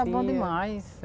é bom demais.